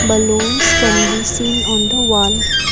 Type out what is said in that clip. balloons can be seen on the wall.